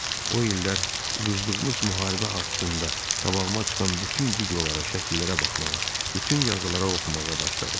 O illər uduzduğumuz müharibə haqqında qabağıma çıxan bütün videolara, şəkillərə baxmağa, bütün yazılara oxumağa başladım.